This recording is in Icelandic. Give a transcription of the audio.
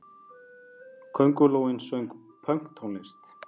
Köngulóin söng pönktónlist!